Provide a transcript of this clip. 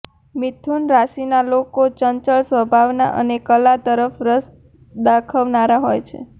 મિથુન રાશીના લોકો ચંચળ સ્વભાવના અને કલા તરફ રસ દાખવનારા હોય છે